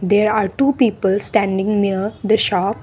there are two people standing near the shop.